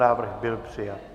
Návrh byl přijat.